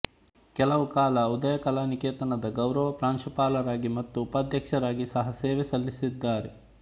ಕೆಲಕಾಲ ಉದಯ ಕಲಾ ನಿಕೇತನದ ಗೌರವ ಪ್ರಾಂಶುಪಾಲರಾಗಿ ಮತ್ತು ಉಪಾಧ್ಯಕ್ಷರಾಗಿ ಸಹಾ ಸೇವೆ ಸಲ್ಲಿಸಿದ್ದಾರೆ